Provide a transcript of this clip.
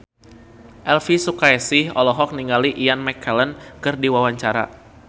Elvi Sukaesih olohok ningali Ian McKellen keur diwawancara